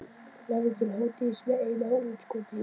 Lærði til hádegis með einu útskoti út í sjoppu.